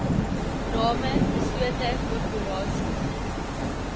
name beslote korporasies